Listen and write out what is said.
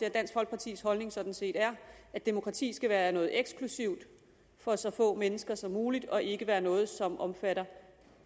at dansk folkepartis holdning sådan set er at demokratiet skal være noget eksklusivt for så få mennesker som muligt og ikke skal være noget som omfatter